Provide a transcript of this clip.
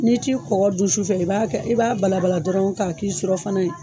N'i t'i kɔkɔ dun sufɛ , i b'a kɛ i b'a bala bala dɔrɔn ka k'i surɔfana ye.